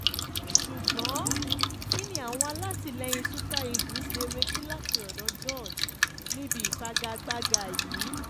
ṣùgbọ́n kíni àwọn alátìlẹyìn super eagles lè retí láti ọ̀dọ̀ george níbi ìfagagbádá yìí